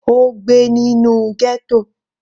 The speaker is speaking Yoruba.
Ó gbé nínú ghetto.